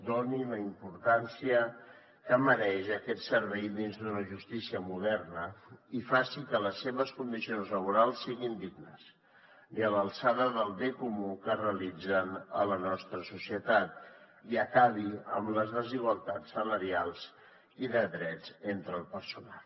doni la importància que mereix aquest servei dins d’una justícia moderna i faci que les seves condicions laborals siguin dignes i a l’alçada del bé comú que realitzen a la nostra societat i acabi amb les desigualtats salarials i de drets entre el personal